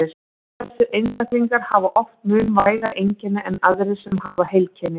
Þessir einstaklingar hafa oft mun vægari einkenni en aðrir sem hafa heilkennið.